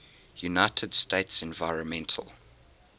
united states environmental